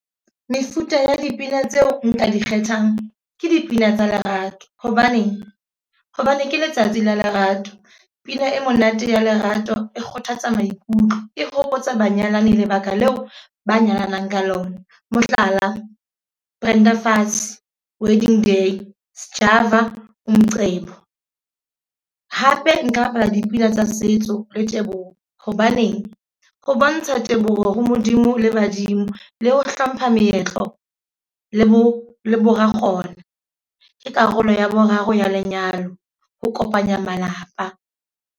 Mefuta ya dipina tseo nka di kgethang, ke dipina tsa lerato. Hobaneng, hobane ke letsatsi la lerato. Pina e monate ya lerato e kgothatsa maikutlo e hopotsa banyalani lebaka leo ba nyalanang ka lona. Mohlala, Brenda Fassie wedding day, Sjava Umqebo. Hape nka bapala dipina tsa setso le teboho. Hobaneng, ho bontsha teboho ho Modimo le badimo. Le ho hlompha meetlo le bo le bo ra kgona. Ke karolo ya boraro ya lenyalo, ho kopanya malapa.